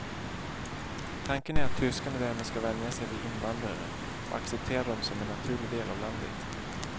Tanken är att tyskarna därmed ska vänja sig vid invandrare och acceptera dem som en naturlig del av landet.